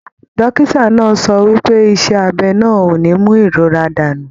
Dókítà náà sọ wípé iṣẹ abẹ náà o ní mú ìrora dànù.